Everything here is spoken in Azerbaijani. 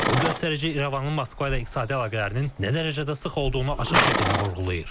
Bu göstərici İrəvanın Moskva ilə iqtisadi əlaqələrinin nə dərəcədə sıx olduğunu açıq şəkildə vurğulayır.